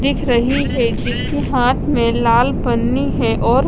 दिख रही है इसके हाथ में लाल पनि है और--